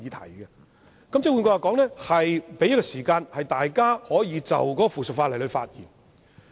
換言之，這是為了給議員時間就附屬法例發言。